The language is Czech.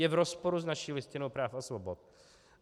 Je v rozporu s naší Listinou práv a svobod.